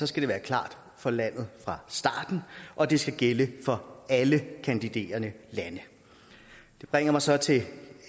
skal det være klart for landet fra starten og det skal gælde for alle kandiderende lande det bringer mig så til den